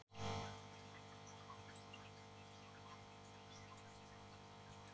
aristóteles var engin undantekning